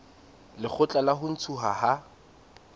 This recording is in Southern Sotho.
lekgotla la ho ntshuwa ha